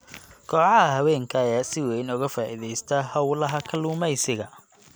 Kooxaha haweenka ayaa si weyn uga faa'iideysta howlaha kalluumeysiga.